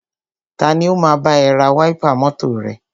Tani o máa bá ẹ ra wáípà mọ́tọ̀ rẹ?